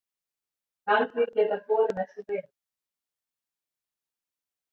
Nagdýr geta borið með sér veiruna.